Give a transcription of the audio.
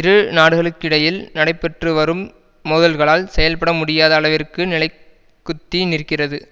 இரு நாடுகளுக்கிடையில் நடைபெற்றுவரும் மோதல்களால் செயல்பட முடியாத அளவிற்கு நிலைக்குத்தி நிற்கிறது